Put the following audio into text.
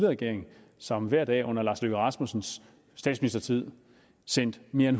regering som hver dag under lars løkke rasmussens statsministertid sendte mere end